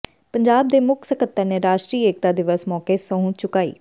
ਪੰਜਾਬ ਦੇ ਮੁੱਖ ਸਕੱਤਰ ਨੇ ਰਾਸ਼ਟਰੀ ਏਕਤਾ ਦਿਵਸ ਮੌਕੇ ਸਹੁੰ ਚੁਕਾਈ